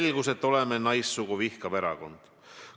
Selgus, et oleme "naissugu vihkav" erakond?